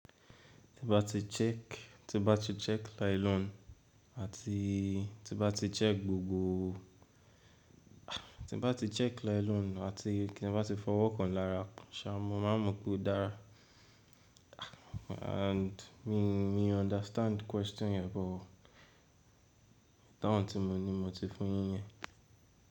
Ti ba ti check, ti ba ti check nylon àti ti ba ti check gbogboo ah, ti ba ti check nylon àti kí n ba ti fọwọ́ kan lára, ṣa, mo máa mọ̀ pé ó dára ah. And mi, mi understand question yẹn but àwọn tí mo ní mo ti fún yín yẹn.